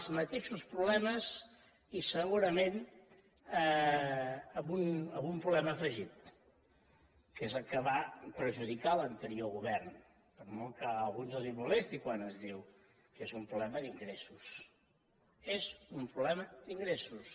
els mateixos problemes i segurament algun problema afegit que és el que va perjudicar l’anterior govern per molt que a alguns els molesti quan es diu que és un problema d’ingressos és un problema d’ingressos